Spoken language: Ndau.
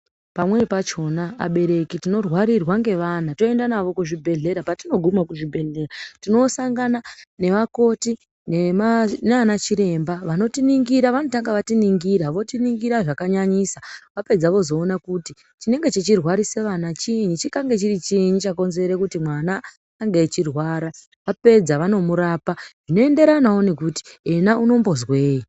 Pamweni pachona abereki tinorwarirwa ngevana, toenda navo kuzvibhehlera. Patinoguma kuzvibhehlera tinosangana nevakoti nanachiremba vanotiningira. Vanotanga vatiningira, votingira zvakanyanyisa. Vapedza vozoona kuti chinenge chichirwarisa vana chiinyi. Chikakange chiri chiinyi chakonzera kuti mwana ange achirwara. Vapedza vanomurapa zvinoenderanawo nekuti iyena anozwei.